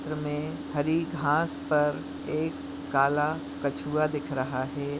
चित्र मे हरी घास पर एक काला कछुआ दिख रह है।